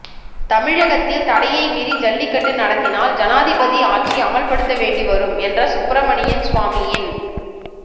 தமிழகத்தில் தடையை மீறி ஜல்லிக்கட்டு நடத்தினால் ஜனாதிபதி ஆட்சி அமல்படுத்த வேண்டி வரும் என்ற சுப்ரமணியன் சுவாமியின்